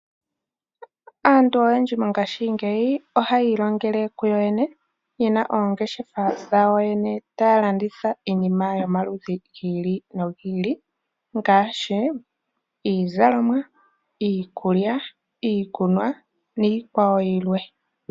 Aantu oyendji mongaashingeyi oha ye ilongele kuyo yene oongeshefa dhayo yene, taya landitha iinima yomaludhi gili nogi ili ngaashi iizalomwa, iikulya, iikunwa niikwawo yilwe.